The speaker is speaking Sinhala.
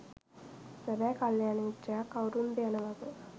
සැබෑ කල්‍යාණ මිත්‍රයා කවුරුන්ද යන වග